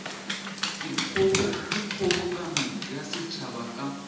ke kgobokano ya setšhaba ka